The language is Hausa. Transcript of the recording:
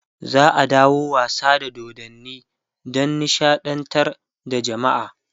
za'a dawo da wasa da dodanni Dan nishaɗantar da jamaa